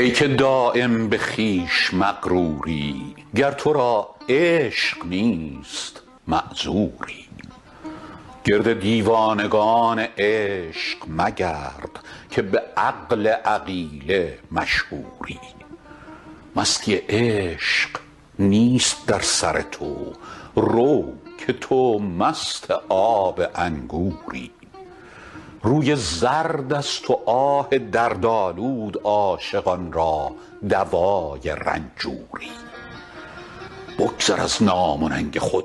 ای که دایم به خویش مغروری گر تو را عشق نیست معذوری گرد دیوانگان عشق مگرد که به عقل عقیله مشهوری مستی عشق نیست در سر تو رو که تو مست آب انگوری روی زرد است و آه دردآلود عاشقان را دوای رنجوری بگذر از نام و ننگ خود